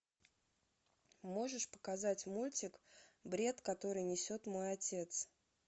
можешь показать мультик бред который несет мой отец